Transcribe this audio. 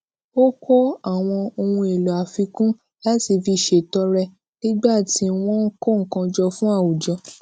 ó kó àwọn ohun èlò àfikún láti fi ṣètọrẹ nígbà tí wón ń kó nǹkan jọ fún àwùjọ